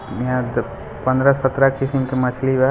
यहाँ पर पन्द्र सत्रह किस्म की मछली बा।